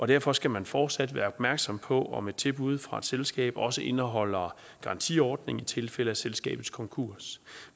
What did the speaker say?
derfor skal man fortsat være opmærksom på om et tilbud fra et selskab også indeholder garantiordning i tilfælde af selskabets konkurs